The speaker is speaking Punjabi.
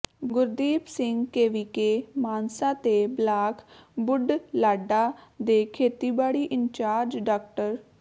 ਗੁਰਦੀਪ ਸਿੰਘ ਕੇਵੀਕੇ ਮਾਨਸਾ ਤੇ ਬਲਾਕ ਬੁਢਲਾਡਾ ਦੇ ਖੇਤੀਬਾੜੀ ਇੰਚਾਰਜ ਡਾ